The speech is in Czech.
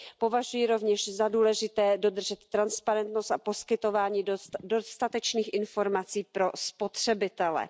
Považuji rovněž za důležité dodržet transparentnost a poskytování dostatečných informací pro spotřebitele.